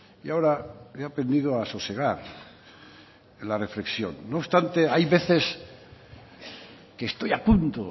y ahora he aprendido a sosegar en la reflexión no obstante hay veces que estoy a punto